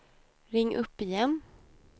ring upp igen